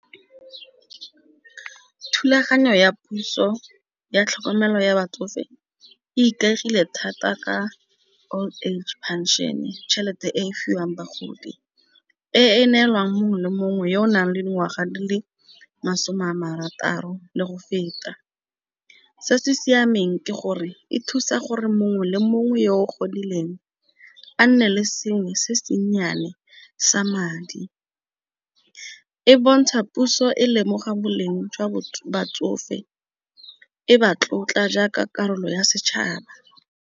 Thulaganyo ya puso ya tlhokomelo ya batsofe. E ikaegile thata ka old age phenšene. Tšhelete e fiwang bagodi e neelwang mongwe le mongwe yo o nang le dingwaga di le masome a marataro le go feta. Se se siameng ke gore e thusa gore mongwe le mongwe yo o godileng a nne le sengwe se se nnyane sa madi. E bontsha puso e lemoga boleng jwa batsofe e ba tlotla jaaka karolo ya setšhaba.